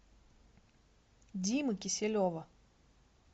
димы киселева